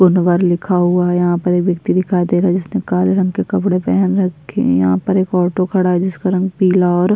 कुंवर लिखा हुआ है यहाँ पर एक वव्यक्ति दिखाई दे रहा है जिसने काले रंग के कपडे पहन रखे है यहाँ पर एक ऑटो खड़ा है जिस पर हम पीला और --